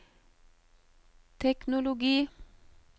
teknologi